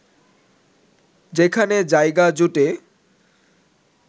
যেখানে জায়গা জোটে